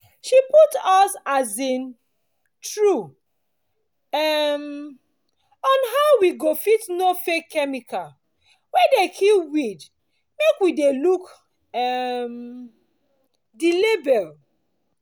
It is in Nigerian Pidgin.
she put us um through um on how we go fit know fake chemical wey dey kill weed make we dey look um the label